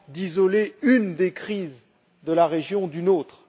d'isoler une des crises de la région d'une autre.